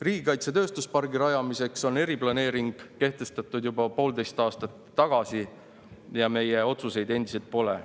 Riigikaitse tööstuspargi rajamiseks kehtestati eriplaneering juba poolteist aastat tagasi, aga meie otsuseid endiselt pole.